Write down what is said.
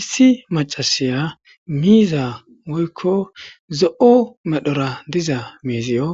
Issi macasiya miizza woykko zo'o medhora diza miiziyo